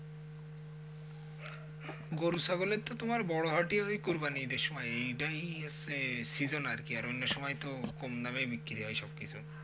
গরু ছাগলের তো তোমার বড় হাটই ওই কুরবানির সময়ই এটাই হচ্ছে season আরকি আর অন্য সময়ে তো অন্যসময়ে তো কম দামেই বিক্রি হয় সব কিছু।